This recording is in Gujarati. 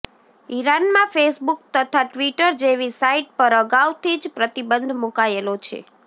ઈરાનમાં ફેસબુક તથા ટ્વિટર જેવી સાઈટ પર અગાઉથી જ પ્રતિબંધ મુકાયેલો છે